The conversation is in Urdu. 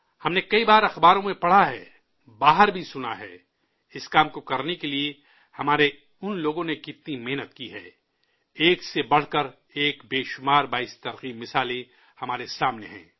ہم نے کئی بار اخباروں میں پڑھا ہے، باہر بھی سنا ہے اس کام کو کرنے کے لیے ہمارے ان لوگوں نے کتنی محنت کی ہے، ایک سے بڑھ کر ایک متعدد حوصلہ افزا مثالیں ہمارے سامنے ہیں